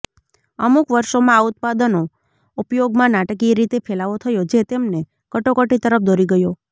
અમુક વર્ષોમાં આ ઉત્પાદનો ઉપયોગમાં નાટકીય રીતે ફેલાવો થયો જે તેમને કટોકટી તરફ દોરી ગયો